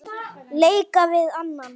leika við annan